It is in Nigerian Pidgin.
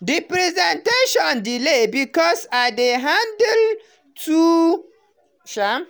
the presentation delay because i dey handle too um